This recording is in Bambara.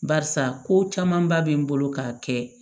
Barisa ko camanba bɛ n bolo ka kɛ